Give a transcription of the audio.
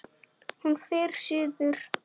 Hún fer suður.